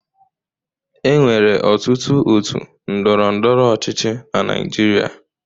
E nwere ọtụtụ òtù ndọrọ ndọrọ ọchịchị na Naịjirịa.